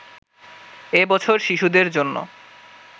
এ বছর শিশুদের জন্য